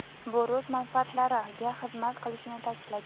bu rus manfaatlariga xizmat qilishini ta’kidlagan.